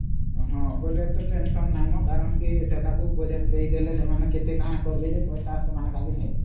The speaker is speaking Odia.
ବେଲେ ସେତ Tensionନାହିଁ ନ ସେମାନେ କେତେ କଁ କରିବେ ଯେ ଖାଲି ପଇସା ନେବେ ସେମାନେ